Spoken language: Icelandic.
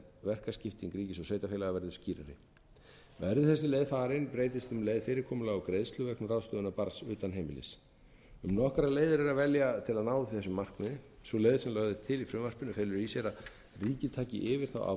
verkaskipting ríkis og sveitarfélaga verður skýrari verði þessi leið farin breytist um leið fyrirkomulag á greiðslu vegna ráðstöfunar barns utan heimilis um nokkrar leiðir er að velja til að ná þessu markmiði sú leið sem lögð er til í frumvarpinu felur í sér að ríkið taki yfir ábyrgðina